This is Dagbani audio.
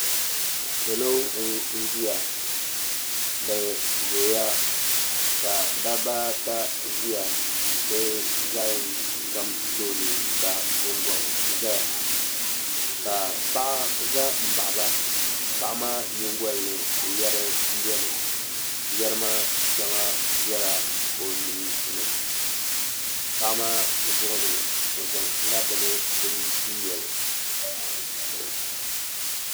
Salo n ʒiya dabba ata ʒiya bi zaɣ yini ka tooni ka gungoŋ ʒɛya ka paɣa ʒɛ n baɣaba paɣa maa nyingoli ni yɛri n biɛni yɛri maa shɛŋa biɛla o luɣuli paɣa maa zuɣu ni o zaŋla bini n loli